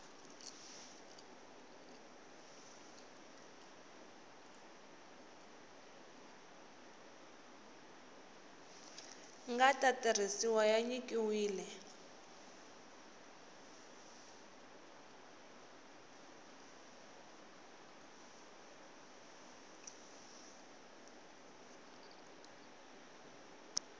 nga ta tirhisiwa ya nyikiwile